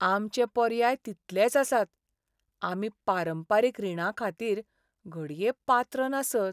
आमचे पर्याय तितलेच आसात! आमी पारंपारीक रीणांखातीर घडये पात्र नासत.